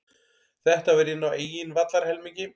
Þetta var inn á eigin vallarhelmingi.